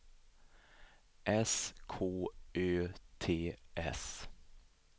S K Ö T S